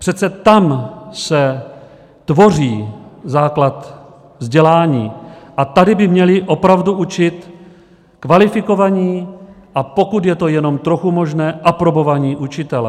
Přece tam se tvoří základ vzdělání a tady by měli opravdu učit kvalifikovaní, a pokud je to jenom trochu možné, aprobovaní učitelé.